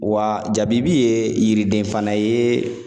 Wa jabibi ye yiriden fana ye